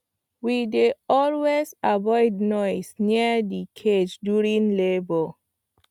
we dey always avoid noise near the cage during labour